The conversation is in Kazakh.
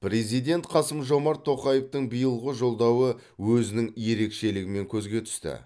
президент қасым жомарт тоқаевтың биылғы жолдауы өзінің ерекшелігімен көзге түсті